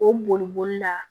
O boli boli la